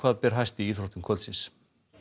ber hæst í íþróttum kvöldsins